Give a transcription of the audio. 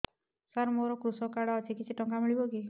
ସାର ମୋର୍ କୃଷକ କାର୍ଡ ଅଛି କିଛି ଟଙ୍କା ମିଳିବ କି